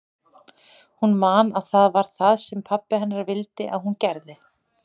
Hún man að það var það sem pabbi hennar vildi að hún gerði.